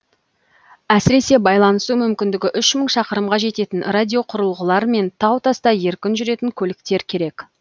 әсіресе байланысу мүмкіндігі үш мыңға шақырымға жететін радиоқұрылғылар мен тау таста еркін жүретін көліктер керек